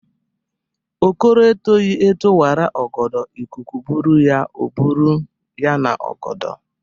Okoro etoghi eto wara ọgọdọ ikuku bụrụ ya, ọ bụrụ ya na-ogodo.